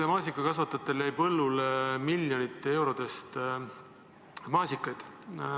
Maasikakasvatajatel jäi põllule miljonite eurode eest maasikaid.